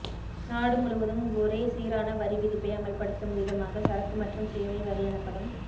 நாடு முழுவதும் ஒரே சீரான வரி விதிப்பை அமல்படுத்தும் விதமாக சரக்கு மற்றும் சேவை வரி எனப்படும்